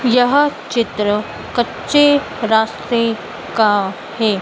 यह चित्र कच्चे रास्ते का है।